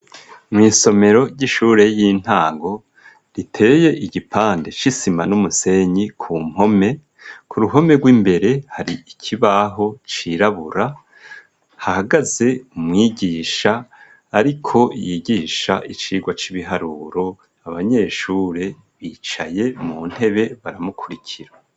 Mw'isomero ry'ishure y'intango riteye igipande c'isima n'umusenyi ku mpome, ku ruhome rw'imbere hari ikibaho cirabura, hahagaze umwigisha ariko yigisha icigwa c'ibiharuro, abanyeshure bicaye mu ntebe baramukurikira.